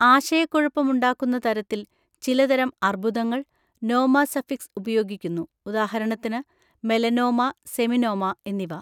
ആശയക്കുഴപ്പമുണ്ടാക്കുന്ന തരത്തിൽ, ചിലതരം അർബുദങ്ങൾ, നോമ സഫിക്സ് ഉപയോഗിക്കുന്നു, ഉദാഹരണത്തിന് മെലനോമ, സെമിനോമ എന്നിവ.